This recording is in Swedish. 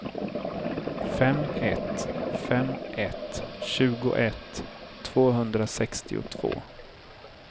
fem ett fem ett tjugoett tvåhundrasextiotvå